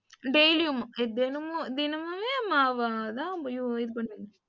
daily உம் தினமும் தினமுமே மாவு தான் உபயோகி இது,